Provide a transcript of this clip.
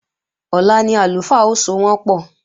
Ọ̀la ni àlùfáà ó sowọ́npọ̀